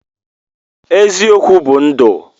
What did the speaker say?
Eziokwu bu ndu.